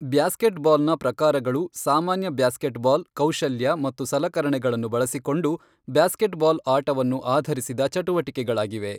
ಬ್ಯಾಸ್ಕೆಟ್ಬಾಲ್ನ ಪ್ರಕಾರಗಳು ಸಾಮಾನ್ಯ ಬ್ಯಾಸ್ಕೆಟ್ಬಾಲ್ ಕೌಶಲ್ಯ ಮತ್ತು ಸಲಕರಣೆಗಳನ್ನು ಬಳಸಿಕೊಂಡು ಬ್ಯಾಸ್ಕೆಟ್ಬಾಲ್ ಆಟವನ್ನು ಆಧರಿಸಿದ ಚಟುವಟಿಕೆಗಳಾಗಿವೆ.